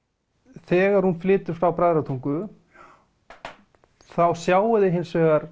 þegar hún flytur frá Bræðratungu þá sjáið þið hins vegar